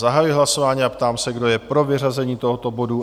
Zahajuji hlasování a ptám se, kdo je pro vyřazení tohoto bodu?